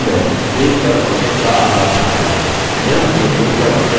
ruler page पर object का आकार दिखाता है